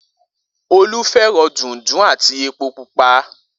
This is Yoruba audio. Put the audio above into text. Olú fé̩ràn dùńdún àti epo pupa